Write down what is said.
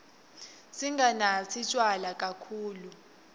singanatsi tjwala kakhulu